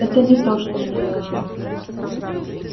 это не то что мне нужно